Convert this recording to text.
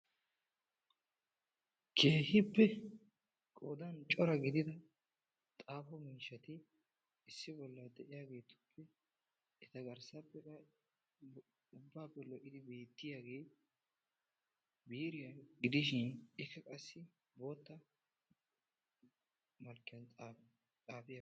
Keehipee qofan cora gidida xaafo miishshati issi bolla de'iyaagetuppe eta garssappe de'iyaa ubbappe lo"idi beettiyaage biiriya gidishin ikka qassi bootta malkkiyaan xaafiyaaga.